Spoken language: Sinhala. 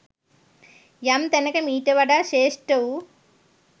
යම් තැනක මීට වඩා ශ්‍රේෂ්ඨ වූ